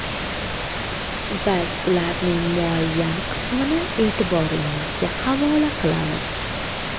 Biz ularning muayyan qismini e’tiboringizga havola qilamiz .